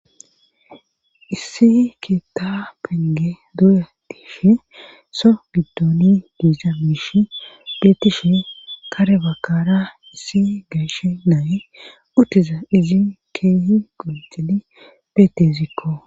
issi keta penge duuya tishe so giddoni diiza miishi beetishe karebakara issi geeshe naye uttiza izi keehi gulxedi beetesikko